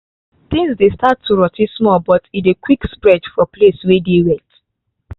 tins dey start too rot ten small but e dey quick spread for place wey dey wet